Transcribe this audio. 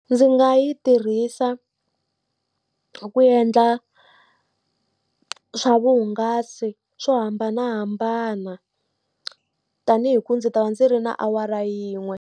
Ndzi nga yi tirhisa ku endla swa vuhungasi swo hambanahambana. Tanihi ku ndzi ta va ndzi ri na awara yin'we.